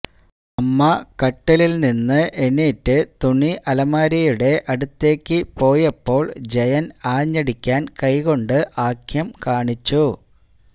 അമ്മ കട്ടിലിൽ നിന്ന് ഇണിട്ട് തുണി അലമാരിയുടെ അടുത്തേക്ക് പോയപ്പോൾ ജയൻ ആഞ്ഞടിക്കാൻ കൈ കൊണ്ട് ആംഗ്യം കാണിച്ചു